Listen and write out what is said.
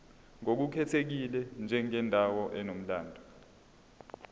ngokukhethekile njengendawo enomlando